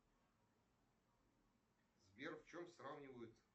сбер в чем сравнивают